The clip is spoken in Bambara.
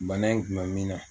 Bana in kun mɛ min na